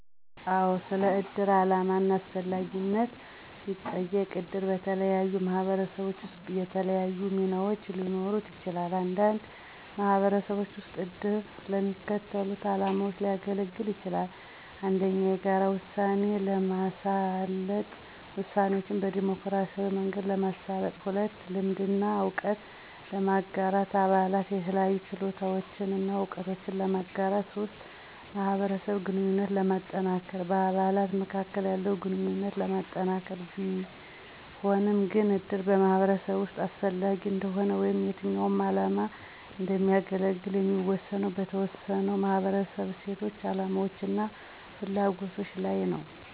አዎ! ስለ እድር ዓላማ እና አስፈላጊነት ሲጠየቅ - እድር በተለያዩ ማህበረሰቦች ውስጥ የተለያዩ ሚናዎች ሊኖሩት ይችላል። አንዳንድ ማህበረሰቦች ውስጥ እድር ለሚከተሉት ዓላማዎች ሊያገለግል ይችላል - 1. የጋራ ውሳኔ ለማሳለጥ - ውሳኔዎችን በዴሞክራሲያዊ መንገድ ለማሳለጥ 2. ልምድ እና እውቀት ለማጋራት - አባላት የተለያዩ ችሎታዎችን እና እውቀትን ለማጋራት 3. ማህበረሰብ ግንኙነት ለማጠናከር - በአባላት መካከል ያለውን ግንኙነት ለማጠናከር ሆኖም ግን፣ እድር በማህበረሰብ ውስጥ አስፈላጊ እንደሆነ ወይም የትኛው ዓላማ እንደሚያገለግል የሚወሰነው በተወሰነው ማህበረሰብ እሴቶች፣ አላማዎች እና ፍላጎቶች ላይ ነው።